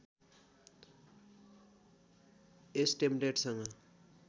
यस टेम्पलेटसँग